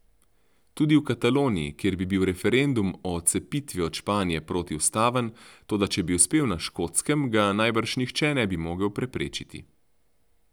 Tudi v Kataloniji, kjer bi bil referendum o odcepitvi od Španije protiustaven, toda če bi uspel na Škotskem, ga najbrž nihče ne bi mogel preprečiti.